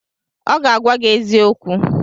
ọ ga-agwa gi eziokwu